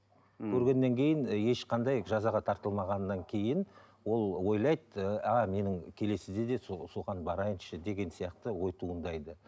ммм көргеннен кейін ешқандай жазаға тартылмағаннан кейін ол ойлайды ааа менің келесіде де сол соған барайыншы деген сияқты ой туындайды